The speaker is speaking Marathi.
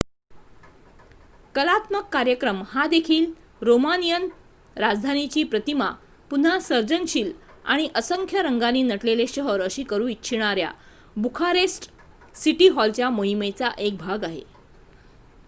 कलात्मक कार्यक्रम हा देखील रोमानियन राजधानीची प्रतिमा पुन्हा सर्जनशील आणि असंख्य रंगांनी नटलेले शहर अशी करू इच्छिणाऱ्या बुखारेस्ट सिटी हॉलच्या मोहिमेचा एक भाग आहे